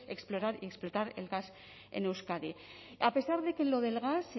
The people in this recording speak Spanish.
explorar y explotar el gas en euskadi a pesar de que lo del gas